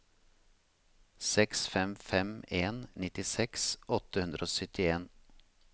seks fem fem en nittiseks åtte hundre og syttien